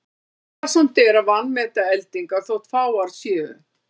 Varasamt er að vanmeta eldingar þótt fáar séu.